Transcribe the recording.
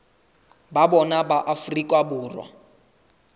ba bona ba afrika borwa